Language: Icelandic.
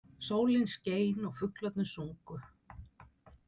Sólin skein og fuglarnir sungu.